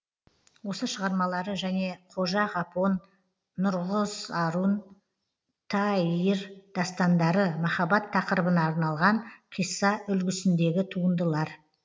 осы шығармалары және қожа ғапон нұрғызарун таїир дастандары махаббат тақырыбына арналған қисса үлгісіндегі туындылар